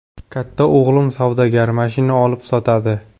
Katta o‘g‘lim savdogar, mashina olib sotadi.